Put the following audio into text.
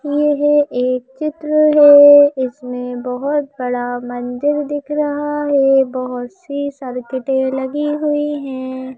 यह एक चित्र है इसमें बहुत बड़ा मंदिर दिख रहा है बहुत सी सदके दिख रही हैं।